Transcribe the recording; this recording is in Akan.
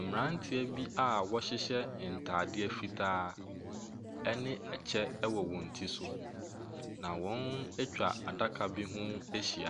Mmeranteɛ bi a wɔhyehyɛ ntadeɛ fitaa ne kyɛ wɔ wɔn ti so, na wɔatwa adaka bi ho ahyi,